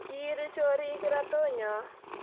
kiiri chorik kirato nyo